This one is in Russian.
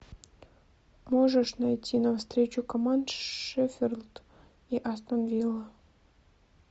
можешь найти нам встречу команд шеффилд и астон вилла